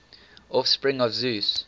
offspring of zeus